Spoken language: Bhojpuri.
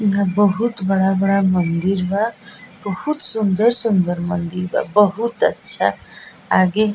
इधर बहुत बड़ा-बड़ा मंदिर बा बहुत सुन्दर-सुन्दर मंदिर बा बहुत अच्छा आगे --